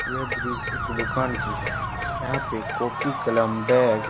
यह दृश्य एक दुकान की है यहाँ पे कॉपी कलम बैग --